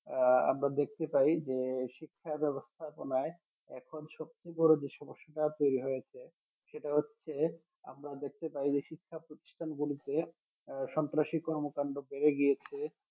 আহ আমরা দেখতে পাই যে শিক্ষা ব্যবস্থাপনায় এখন সবচেয়ে বড় যে সমস্যা তৈরি হয়েছে সেটা হচ্ছে আমরা দেখতে পাই যে শিক্ষা প্রতিষ্ঠান গুলিতে আহ সন্ত্রাসী কর্মকাণ্ডকে এগিয়েছে